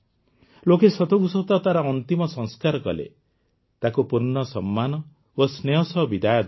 ଲୋକେ ସତକୁ ସତ ତାର ଅନ୍ତିମ ସଂସ୍କାର କଲେ ତାକୁ ପୂର୍ଣ୍ଣ ସମ୍ମାନ ଓ ସ୍ନେହ ସହ ବିଦାୟ ଦେଲେ